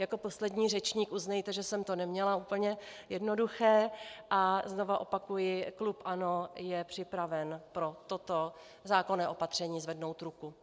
Jako poslední řečník, uznejte, že jsem to neměla úplně jednoduché, a znovu opakuji, klub ANO je připraven pro toto zákonné opatření zvednout ruku.